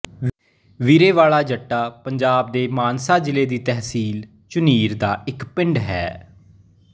ਬੀਰੇ ਵਾਲਾ ਜੱਟਾਂ ਪੰਜਾਬ ਦੇ ਮਾਨਸਾ ਜ਼ਿਲ੍ਹੇ ਦੀ ਤਹਿਸੀਲ ਝੁਨੀਰ ਦਾ ਇੱਕ ਪਿੰਡ ਹੈ